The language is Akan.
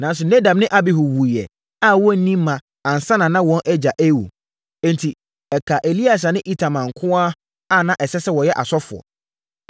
Nanso, Nadab ne Abihu wuiɛ a wɔnni mma ansa na wɔn agya rewu. Enti, ɛkaa Eleasa ne Itamar nko ara a na ɛsɛ sɛ wɔyɛ asɔfoɔ.